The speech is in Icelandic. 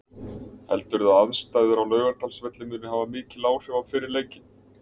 Heldurðu að aðstæður á Laugardalsvelli muni hafa mikil áhrif á fyrri leikinn?